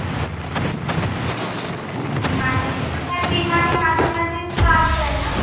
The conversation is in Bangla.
বিমানে হ্যাঁ, বিমানে মাঝে মাঝে ছাড় দেয়না